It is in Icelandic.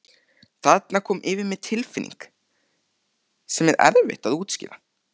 Þarna kom yfir mig tilfinning sem er erfitt að útskýra.